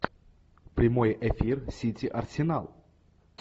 прямой эфир сити арсенал